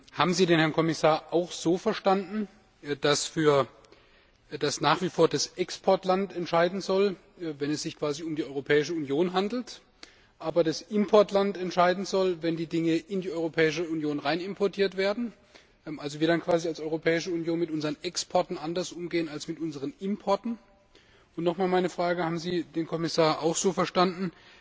Haben Sie den Herrn Kommissar auch so verstanden, dass nach wie vor das Exportland entscheiden soll, wenn es sich quasi um die Europäische Union handelt, aber das Importland entscheiden soll, wenn die Dinge in die Europäische Union importiert werden, wir als Europäische Union also mit unseren Exporten anders umgehen als mit unseren Importen? Und haben Sie den Kommissar auch so verstanden,